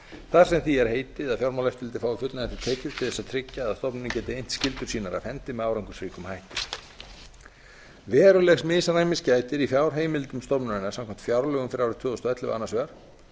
þar sem því er heitið að fjármálaeftirlitið fái fullnægjandi tekjur til að tryggja að stofnunin geti innt skyldur sínar af hendi með árangursríkum hætti verulegs misræmis gætir í fjárheimildum stofnunarinnar samkvæmt fjárlögum fyrir árið tvö þúsund og ellefu annars vegar